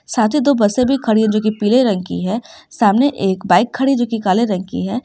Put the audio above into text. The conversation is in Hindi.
साथ ही दो बसें भी खड़ी हैं जोकि पीले रंग की है सामने एक बाइक खड़ी है जोकि काले रंग की है।